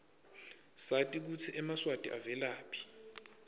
sati kutsi emaswati avelaphi